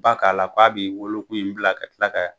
Ba k'a la k'a b'i wolokun in bila ka kila ka